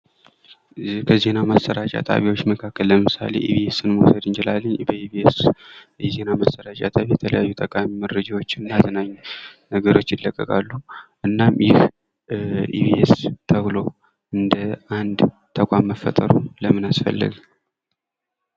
በዜና ማሰራጫ ጣቢያዎች መካከል ለምሳሌ ኢቢኤስ የዜና ማሰራጫ ጣቢያ የተለያዩ ጠቃሚ መረጃዎችን እና አዝናኝ ፕሮግራሞችን ይዞ ይቀርባል። እና ይህም ኢቢኤስ ተብሎ ራሱን ችሎ መቋቋሙ ለምን አስፈለገ?